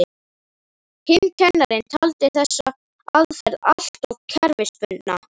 Hinn kennarinn taldi þessa aðferð alltof kerfisbundna.